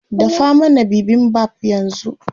Dafa mana bibimbap yanzu.